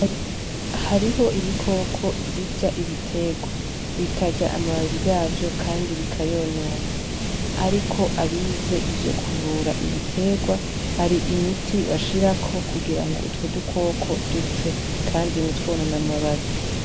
Hariho ibikoko birya ibiterwa, bikarya amababi yavyo, kandi bikayonona. Ariko abize ivyo kuvura ibiterwa, hari imiti bashirako kugira ngo utwo dukoko dupfe kandi ntitwonone amababi.